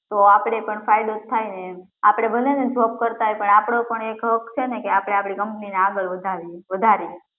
તો આપડે પણ ફાયદો જ થાય ને એમ આપડે ભલે ને job કરતા હોય પણ આપડો પણ એક હક્ક છે ને આપડી company ને આગળ વધારીએ